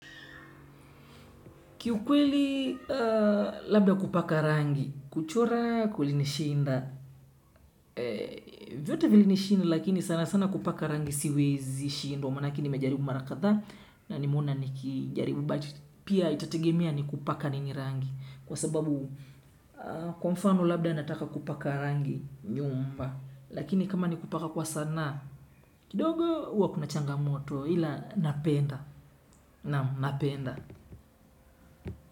Kiukweli labda kupaka rangi, kuchora kulini shinda, vyote vilinishinda lakini sana sana kupaka rangi siwezi shindwa, maanake ni mejaribu mara kadha na ni meona ni kijaribu but, pia itategemia ni kupaka nini rangi, kwa sababu kwa mfano labda nataka kupaka rangi nyumba, lakini kama ni kupaka kwa sanaa, kidogo huwa kuna changamoto, ila napenda, naam napenda.